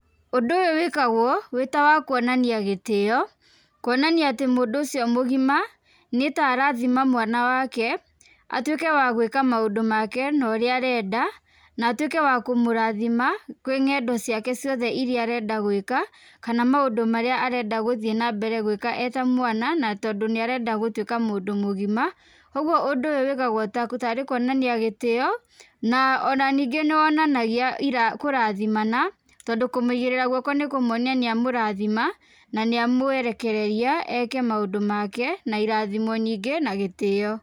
Ũndũ ũyũ wĩkagwo wĩ ta wa kuonania gĩtĩo kuonania atĩ mũndũ ũcio mũgima nĩta arathima mwana wake atuĩke wa gwĩka maũndũ make na ũrĩa arenda atũĩke wa kũmũrathima kwĩ ng'endo ciake ciothe arenda gwĩka kana maũndũ marĩa arenda gũthiĩ na mbere gũĩka e ta mwana na tondũ nĩ arenda gũtuĩka mũndũ mũgima, koguo ũndũ ũyũ wĩkagwo tarĩ kuonania gĩtĩo na o na ningĩ nĩwonanagia kũrathimana tondũ kũmũigĩrĩra guoko nĩkuonania nĩamũrathima na nĩamũerekereria eke maũndũ make na irathimo nyingĩ na gĩtĩo.